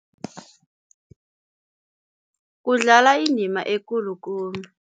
Kudlala indima ekulu khulu.